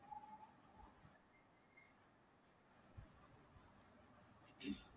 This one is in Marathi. हम्म